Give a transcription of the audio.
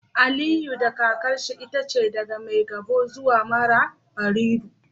Aliyu da kakarsa itace daga Maigabo zuwa Marabarido